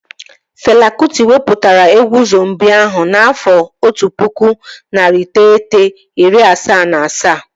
Fela Kụti wepụtara egwu Zombii ahụ n'afọ otu pụkụ, narị iteghete, iri asaa na asaa